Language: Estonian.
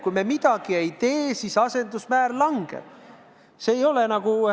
Kui me midagi ei tee, siis asendusmäär langeb.